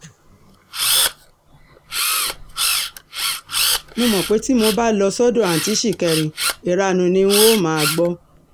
mo mọ̀ pé tí mo bá lọ sọ́dọ̀ àtúntí ṣìkẹ̀rì ìranu ni n óò máa gbọ́